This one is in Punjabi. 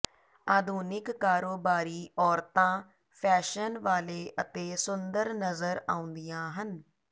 ਆਧੁਨਿਕ ਕਾਰੋਬਾਰੀ ਔਰਤਾਂ ਫੈਸ਼ਨ ਵਾਲੇ ਅਤੇ ਸੁੰਦਰ ਨਜ਼ਰ ਆਉਂਦੀਆਂ ਹਨ